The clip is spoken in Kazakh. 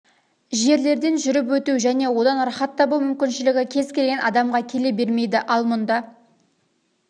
жерлерден жүріп өту және одан рахат табу мүмкіншілігі кез келген адамға келе бермейді ал мұнда